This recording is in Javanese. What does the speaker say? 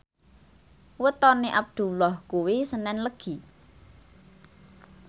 wetone Abdullah kuwi senen Legi